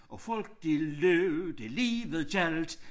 Og folk de løb det livet gjaldt